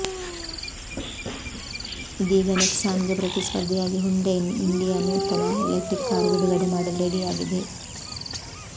ಇದೀಗ ನೆಕ್ಸಾನ್ಗೆ ಪ್ರತಿಸ್ಪರ್ಧಿಯಾಗಿ ಹ್ಯುಂಡೈ ಇಂಡಿಯಾ ನೂತನ ಎಲೆಕ್ಟ್ರಿಕ್ ಕಾರು ಬಿಡುಗಡೆ ಮಾಡಲು ರೆಡಿಯಾಗಿದೆ